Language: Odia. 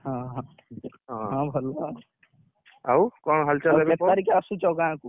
ହଁ ହଁ ହଁ ହଁ ଭଲ ଆଉ ଆଉ କେତେ ତାରିଖ ଆସୁଛ ଗାଁ କୁ?